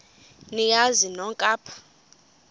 niyazi nonk apha